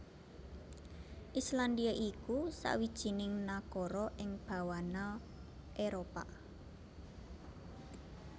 Islandia iku sawijining nagara ing bawana Éropah